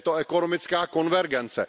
Je to ekonomická konvergence.